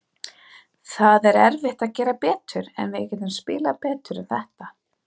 Það er erfitt að gera betur, en við getum spilað betur en þetta.